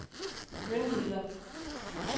myndigheder